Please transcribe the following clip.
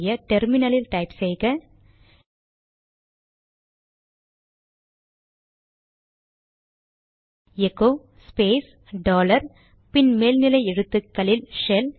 terminally ல் type செய்க echo space dollar பின் மேல் நிலை எழுத்துக்களில் ஷெல்